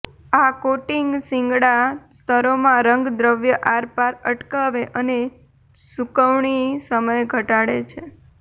આ કોટિંગ શિંગડા સ્તરોમાં રંગદ્રવ્ય આરપાર અટકાવે અને સૂકવણી સમય ઘટાડે છે